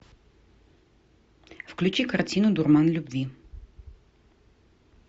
включи картину дурман любви